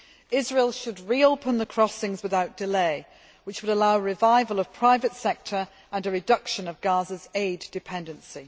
Israel should reopen the crossings without delay, which would allow a revival of the private sector and a reduction of Gaza's aid dependency.